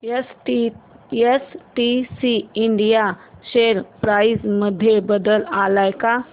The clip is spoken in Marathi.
एसटीसी इंडिया शेअर प्राइस मध्ये बदल आलाय का